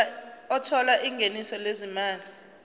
othola ingeniso lezimali